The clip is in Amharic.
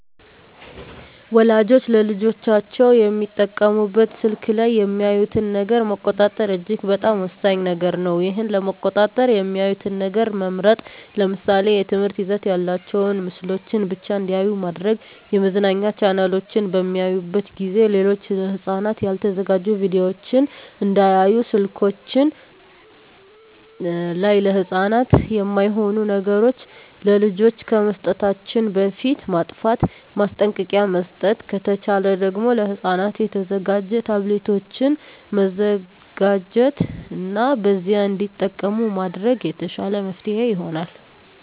ወላጆች ለልጆቻቸው የሚጠቀሙበት ስልክ ላይ የሚያዩትን ነገር መቆጣጠር እጅግ በጣም ወሳኝ ነገር ነው ይህን ለመቆጣጠር የሚያዩትን ነገር መምረጥ ለምሳሌ የትምህርት ይዘት ያላቸውን ምስሎችን ብቻ እንዲያዩ ማድረግ የመዝናኛ ቻናሎችን በሚያዩበት ጊዜ ሌሎች ለህፃናት ያልተዘጋጁ ቪዲዮወችን እንዳያዩ ስልከችን ላይ ለህፃናት የማይሆኑ ነገሮች ለልጆች ከመስጠታችን በፊት ማጥፍት ማስጠንቀቂያ መስጠት ከተቻለ ደግም ለህፃናት የተዘጋጁ ታብሌቶችን መዘጋጀት እና በዚያ እንዲጠቀሙ ማድረግ የተሻለ መፍትሔ ይሆናል።